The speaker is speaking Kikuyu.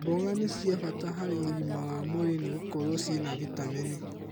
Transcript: Mboga nĩ cia bata harĩ ũgima wa mwĩrĩ nĩ gũkorwo cina vitamini.